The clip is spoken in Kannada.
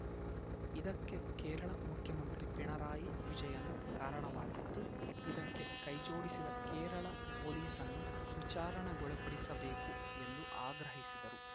ಇದಕ್ಕೆ ಕೇರಳ ಮುಖ್ಯಮಂತ್ರಿ ಪಿಣರಾಯಿ ವಿಜಯನ್‌ ಕಾರಣವಾಗಿದ್ದು ಇದಕ್ಕೆ ಕೈಜೋಡಿಸಿದ ಕೇರಳ ಪೊಲೀಸನ್ನು ವಿಚಾರಣೆಗೊಳಪಡಿಸಬೇಕು ಎಂದು ಆಗ್ರಹಿಸಿದರು